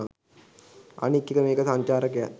අනික් එක මේක සංචාරකයන්